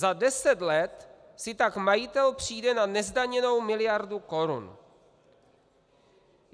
Za deset let si tak majitel přijde na nezdaněnou miliardu korun.